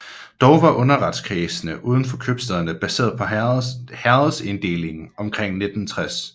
Dog var underretskredsene uden for købstæderne baseret på herredsinddelingen indtil omkring 1960